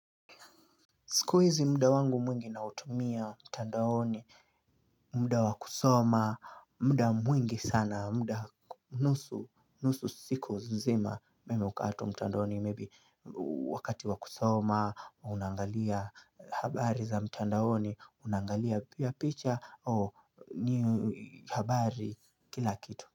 Siku hizi mda wangu mwingi na utumia mtandaoni, mda wakusoma, mda mwingi sana, mda nusu nusu siku nzima. Mimi wakati mtandaoni maybe wakati wakusoma, unaangalia habari za mtandaoni, unaangalia picha, ni habari kila kitu.